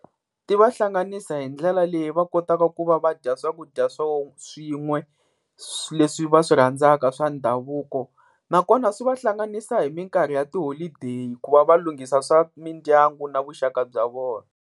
Ti va hlanganisa hi ndlela leyi va kotaka ku va va dya swakudya swin'we leswi va swi rhandzaka swa ndhavuko, nakona swi va hlanganisa hi minkarhi ya tiholodeyi ku va va lunghisa swa mindyangu na vuxaka bya vona.